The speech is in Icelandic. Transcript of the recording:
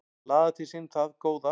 Að laða til sín það góða